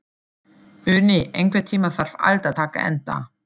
Uni, einhvern tímann þarf allt að taka enda.